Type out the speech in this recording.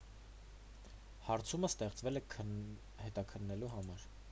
հարցումն ստեղծվել է հետաքննելու համար